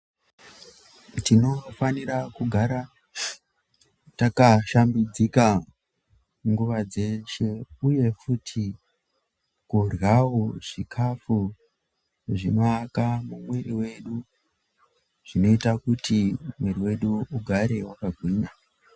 Tinofanira kugara takashambidzika nguva dzeshe, uye futi kuryavo chikafu zvinoaka mumwiri vedu, zvinoita kuti mwiri vedu ugare vakagwinya.